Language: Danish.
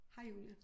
Hej Julie